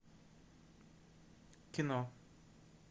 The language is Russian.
кино